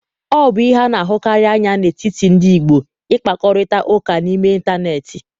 Ọ bụ ihe a na-ahụkarị anya n'etiti ndị ọgbọ ịkpakorịta ụka n'ime ịntanetị.